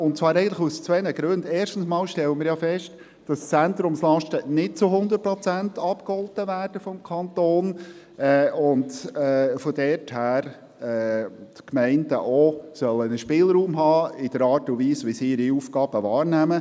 Dies aus zwei Gründen: Erstens stellen wir fest, dass die Zentrumslasten vom Kanton nicht zu 100 Prozent abgegolten werden und die Gemeinden daher auch einen Spielraum haben sollen in der Art und Weise, wie sie ihre Aufgaben wahrnehmen.